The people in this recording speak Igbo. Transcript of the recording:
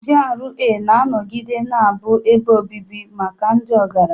GRA ga-anọgide na-abụ ebe obibi maka ndị ọgaranya.